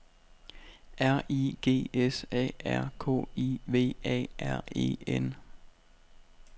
R I G S A R K I V A R E N